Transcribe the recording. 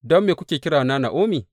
Don me kuke kirana Na’omi?